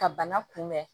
Ka bana kunbɛn